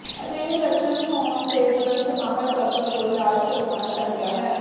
ਅਜਿਹੇ ਲੱਛਣ ਹੋਣ ਤੇ ਤਰੁੰਤ ਮਾਹਰ ਡਾਕਟਰ ਤੋਂ ਇਲਾਜ ਕਰਵਾਉਣਾ ਚਾਹੀਦਾ ਹੈ